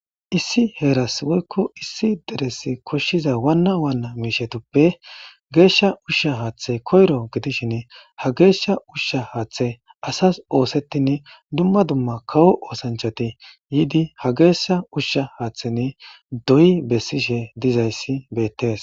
Issi heeras woykko issi deres koshshiza waana waana miishshetuppe geeshsha ushsha haaththey koyro gidishin ha geeshsha ushsha haaththay asas oosetin dumma dumma kawo ooththanchchati yiidi ha geeshsha haaththan doyi bessishe dizays beettes